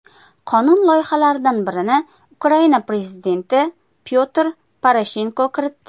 Qonun loyihalaridan birini Ukraina prezidenti Pyotr Poroshenko kiritdi.